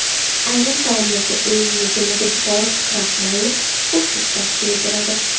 Ayrim taomlarga un yoki makkajo‘xori kraxmalini qo‘shish tavsiya etiladi.